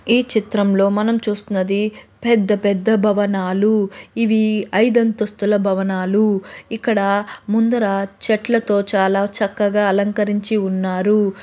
ఈ చిత్రంలో మనం చూస్తున్నది పెద్ద పెద్ద భవనాలు . ఇవి ఐదు అంతస్తుల భవనాలు . ఇక్కడ ముందర చెట్లతో చాలా చక్కగా అలంకరించి ఉన్నారు.